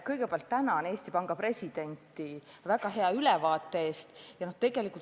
Kõigepealt tänan Eesti Panga presidenti väga hea ülevaate eest!